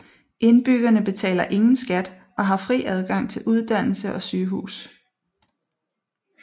Indbyggerne betaler ingen skat og har fri adgang til uddannelse og sygehus